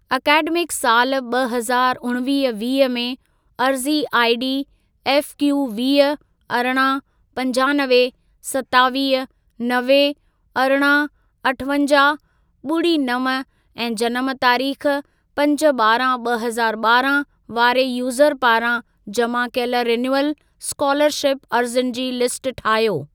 Academic साल ॿ हज़ारु उणिवीह वीह में, अर्ज़ी आईडी एफक्यू वीह, अरिड़हं, पंजानवे, सतावीह, नवे, अरिड़हं, अठवंजाहु, ॿुड़ी नव ऐं जनम तारीख़ पंज ॿारहं ॿ हज़ार ॿारहां वारे यूज़र पारां जमा कयल रिन्यूअल स्कोलरशिप अर्ज़ियुनि जी लिस्ट ठाहियो।